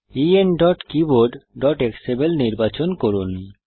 enkeyboardএক্সএমএল নির্বাচন করুন